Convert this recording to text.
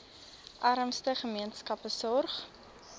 armste gemeenskappe sorg